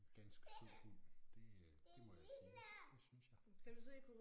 Ganske sød det må jeg sige det synes jeg